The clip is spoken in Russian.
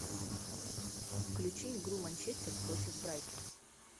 включи игру манчестер против брайтон